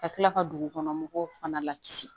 Ka tila ka dugukɔnɔ mɔgɔw fana la kisi